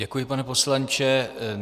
Děkuji, pane poslanče.